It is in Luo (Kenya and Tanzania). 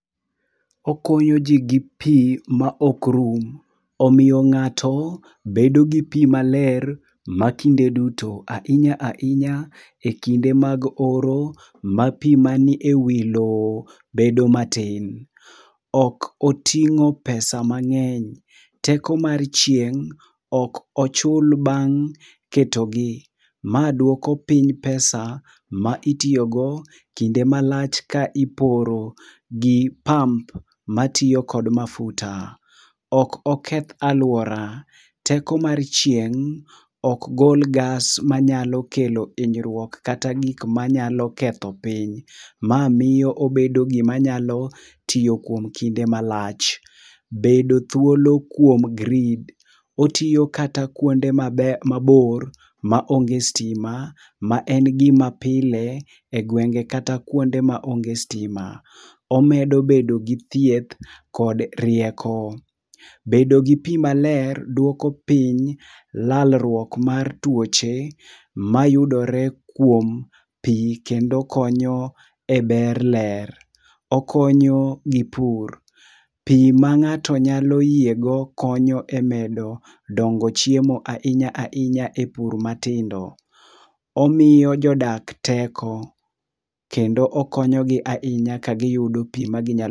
Okonyo ji gi pi ma ok rum, omiyo ng'ato bedo gi pi maler ma kinde duto. Ahinya ahinya e kinde mag oro ma pi mani e wi lowo bedo matin. Ok oting'o psa mang'eny, teko mar chieng' ok ochul bang' ketogi. Ma duoko piny pesa ma itiyogo kinde malach ka iporo gi pump matiyo kod mafuta. Ok oketh alwora, teko mar chieng' ok gol gas manyalo kelo hinyruok kata gik manyalo ketho piny. Ma miyo obedo gima nyalo tiyo kuom kinde malach. Bedo thuolo kuom grid: otiyo kata kuonde mabor ma onge stima ma en gima pile e gwenge kata kuonde maonge stima. Omedo bedo gi thieth kod rieko. Bedo gi pi maler dwoko piny lalruok mar tuoche mayudore kuom pi kendo konyo e ber ler. Okonyo gi pur, pi ma ng'ato nyalo yiego konyo e medo dongo chiemo ainya ainya e pur matindo. Omiyo jodak teko, kendo okonyogi ainya ka giyudo pi ma ginyal.